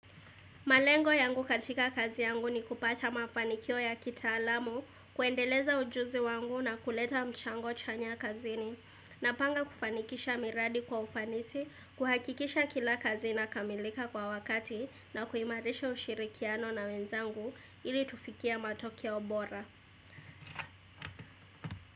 Malengo yangu katika kazi yangu ni kupata mafanikio ya kitaalamu, kuendeleza ujuzi wangu na kuleta mchango chanya kazini. Napanga kufanikisha miradi kwa ufanisi, kuhakikisha kila kazi inakamilika kwa wakati na kuimarisha ushirikiano na wenzangu ili tufikie matokeo bora.